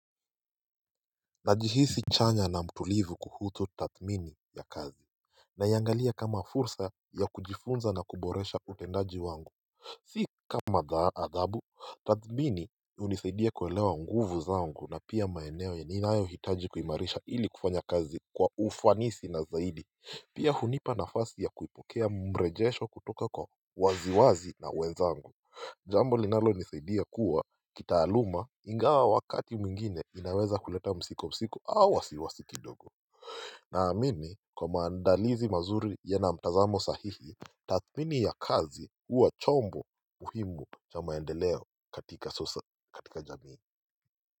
Najihisi chanya na mtulivu kuhusu tathmini ya kazi. Naiangalia kama fursa ya kujifunza na kuboresha utendaji wangu Si kama adhabu tathmini hunisaidia kuelewa nguvu zangu na pia maeneo ya ninayohitaji kuimarisha ili kufanya kazi kwa ufanisi na zaidi Pia hunipa nafasi ya kuipokea mrejesho kutoka kwa waziwazi na wenzangu Jambo linalonisaidia kuwa kitaaluma ingawa wakati mwingine inaweza kuleta msiko msiko au wasiwasi kidogo Naamini kwa maandalizi mazuri yana mtazamo sahihi tathmini ya kazi huwa chombo muhimu cha maendeleo katika sosa katika jamii.